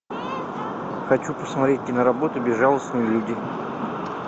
хочу посмотреть киноработу безжалостные люди